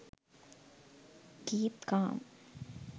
keep calm